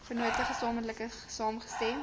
vennote gesamentlik saamgestem